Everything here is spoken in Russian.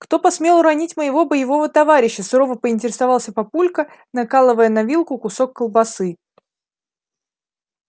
кто посмел уронить моего боевого товарища сурово поинтересовался папулька накалывая на вилку кусок колбасы